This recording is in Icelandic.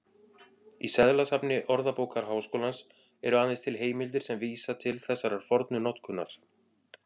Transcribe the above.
Í seðlasafni Orðabókar Háskólans eru aðeins til heimildir sem vísa til þessarar fornu notkunar.